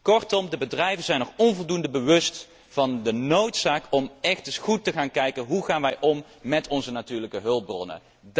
Kortom, de bedrijven zijn zich nog onvoldoende bewust van de noodzaak om echt eens goed te gaan kijken hoe wij omgaan met onze natuurlijke hulpbronnen.